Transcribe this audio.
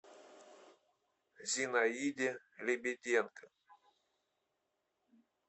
зинаиде лебеденко